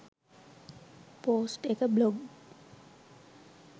post එක blog